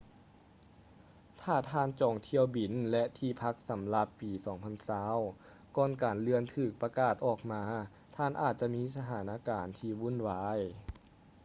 ຖ້າທ່ານຈອງຖ້ຽວບິນ ແລະ ທີ່ພັກສຳລັບປີ 2020 ກ່ອນການເລື່ອນຖືກປະກາດອອກມາ ທ່ານອາດຈະມີສະຖານະການທີ່ວຸ່ນວາຍ